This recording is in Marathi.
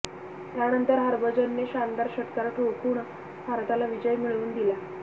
त्यानंतर हरभजनने शानदार षटकार ठोकून भारताला विजय मिळवून दिला